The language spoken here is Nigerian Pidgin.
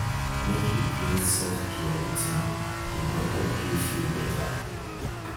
make you create self-care routine e go help you feel beta.